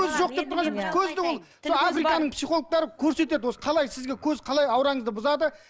көз жоқ деп тұрған жоқпыз көз де ол африканың психологтары көрсетеді осы қалай сізге көз қалай аураңызды бұзады